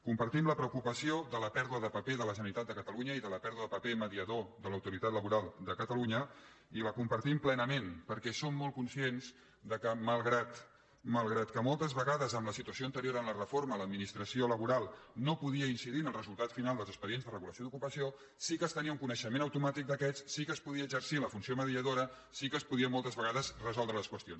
compartim la preocupació per la pèrdua de paper de la generalitat de catalunya i per la pèrdua de paper mediador de l’autoritat laboral de catalunya i la compartim plenament perquè som molt conscients que malgrat que moltes vegades en la situació ante·rior a la reforma l’administració laboral no podia in·cidir en el resultat final dels expedients de regulació d’ocupació sí que es tenia un coneixement automàtic d’aquests sí que es podia exercir la funció mediadora sí que es podien moltes vegades resoldre les qüestions